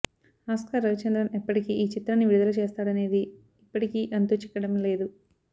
Oscar Ravichandran ఎప్పటికి ఈ చిత్రాన్ని విడుదల చేస్తాడనేది ఇప్పటికీ అంతు చిక్కడం లేదు